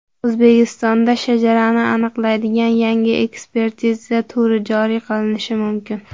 O‘zbekistonda shajarani aniqlaydigan yangi ekspertiza turi joriy qilinishi mumkin.